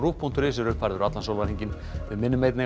rúv punktur is er uppfærður allan sólarhringinn við minnum einnig